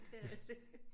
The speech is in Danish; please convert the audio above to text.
Det er det